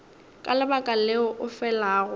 ka lebaka leo o felago